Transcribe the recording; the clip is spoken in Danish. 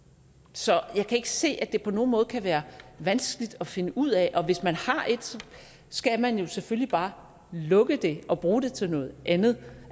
så jeg kan ikke se at det på nogen måde kan være vanskeligt at finde ud af og hvis man har et skal man jo selvfølgelig bare lukke det og bruge det til noget andet